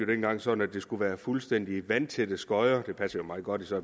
dengang sådan at der skulle være fuldstændig vandtætte skodder det passer meget godt for